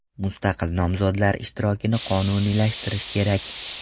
Mustaqil nomzodlar ishtirokini qonuniylashtirish kerak”.